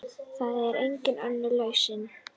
Það er engin önnur lausn.